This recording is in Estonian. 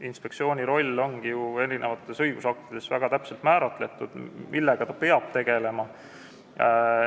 Inspektsiooni roll on ju õigusaktides väga täpselt kindlaks määratud, see, millega ta peab tegelema.